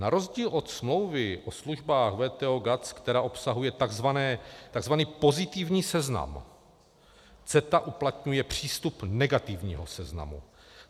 Na rozdíl od smlouvy o službách WTO - GATS, která obsahuje tzv. pozitivní seznam, CETA uplatňuje přístup negativního seznamu.